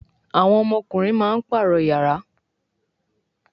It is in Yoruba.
àwọn ọmọkunrin má parọ iyàrá